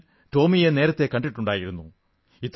ഞാൻ ടോമിയെ നേരത്തെ കണ്ടിട്ടുണ്ടായിരുന്നു